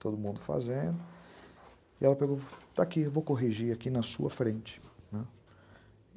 todo mundo fazendo, e ela pegou, está aqui, vou corrigir aqui na sua frente, né.